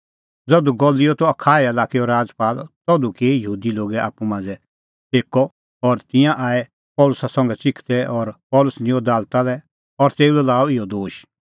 ज़धू गलिओ त अखाया लाक्कैओ राजपाल तधू किअ यहूदी लोगै आप्पू मांझ़ै एक्कअ और तिंयां आऐ पल़सी संघै च़िखदै और पल़सी निंयं दालता लै और तेऊ लै लाअ इहअ दोश